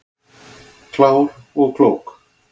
Klár og klók